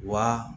Wa